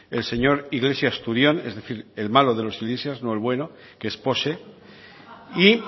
el señor iglesias turión es decir el malo de los iglesias no el bueno que es pose y